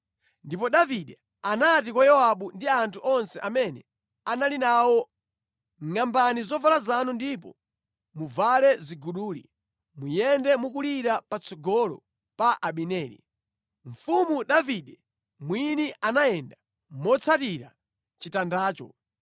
Ndipo Davide anati kwa Yowabu ndi anthu onse amene anali nawo, “Ngʼambani zovala zanu ndipo muvale ziguduli, muyende mukulira patsogolo pa Abineri.” Mfumu Davide mwini anayenda motsatira chitandacho.